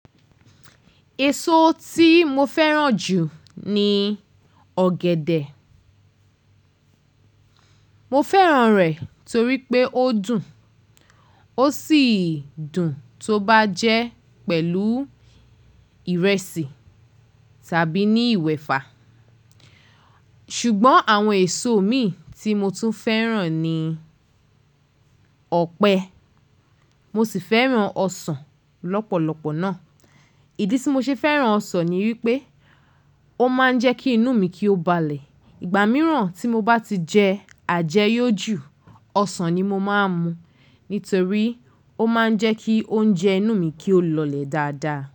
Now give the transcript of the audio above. Èso tí mo fẹ́ràn jù ni ọ̀gẹ̀dẹ̀. Mo fẹ́ràn rẹ̀ torí pé ó dùn ó sì dùn tó bá jẹ́ pẹ̀lú ìrẹsì tàbí ní ìwẹ̀fa. Ṣùgbọ́n àwọn èso mi tí mo tún fẹ́ràn ni ọ̀pẹ. Mo sì fẹ́ràn ọsàn lọ́pọ̀lọpọ̀ náà. Ìdí tí mo ṣe fẹ́ràn ọsàn ni wípé ó máa ń jẹ́ kí inú mi kí ó balẹ̀. Ìgbà mìíràn tí mo bá ti jẹ àjẹ́yọ̀ jù, ọsàn ni mo máa ń mu nítorí ó máa ń jẹ́ kí oúnjẹ inú mi kí ó lọlẹ̀ dáadáa.